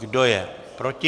Kdo je proti?